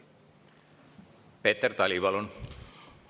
Peeter Tali, palun!